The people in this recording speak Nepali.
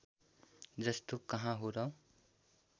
जस्तो कहाँ हो र